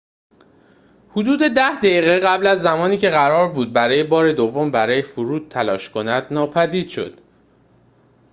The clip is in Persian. حدود ده دقیقه قبل از زمانی که قرار بود برای بار دوم برای فرود تلاش کند ناپدید شد